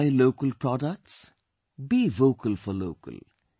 Buy local products, be Vocal for Local